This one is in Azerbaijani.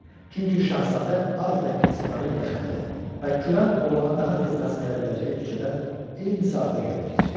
Çünki şahzadə adətən kasıbların yaşadığı və kürən oğlana daha tez rast gələ biləcəyi küçədən eyni saatda gəlib keçirdi.